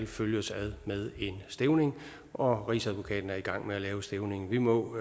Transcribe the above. følges ad med en stævning og rigsadvokaten er i gang med at lave stævningen vi må